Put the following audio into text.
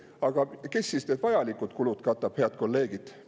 Aga kes siis need vajalikud kulud katab, head kolleegid?